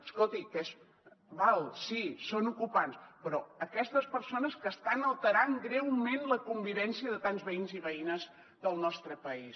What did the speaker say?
escolti que d’acord sí són ocupants però aquestes persones que estan alterant greument la convivència de tants veïns i veïnes del nostre país